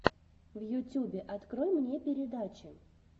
в ютюбе открой мне передачи